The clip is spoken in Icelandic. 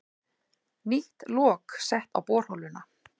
Nýtt lok sett á borholuna